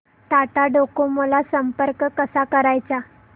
Tata Docomo ला संपर्क कसा करायचा